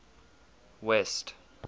west